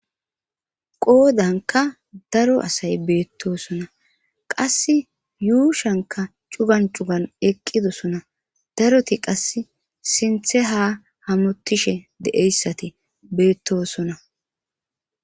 qoodanka daro asay beettosona qass yuushanka cugan cugan eqqidosona daroti qass sinthe ha hamotishe deeyssati beettosona